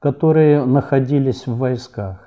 которые находились в войсках